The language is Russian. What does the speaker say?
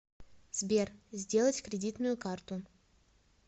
сбер сделать кредитную карту